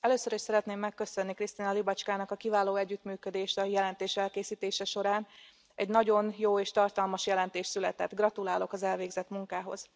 Először is szeretném megköszönni Krystyna Łybackának a kiváló együttműködést a jelentés elkészítése során, egy nagyon jó és tartalmas jelentés született, gratulálok az elvégzett munkához.